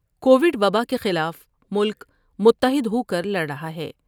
کو وڈوبا کے خلاف ملک متحد ہوکر لڑ رہا ہے ۔